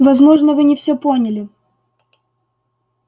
возможно вы не всё поняли